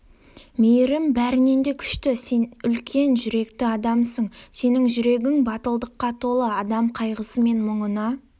мейірім бәрінен де күшті сен үлкен жүректі адамсың сенің жүрегің батылдыққа толы адам қайғысы мен мұңына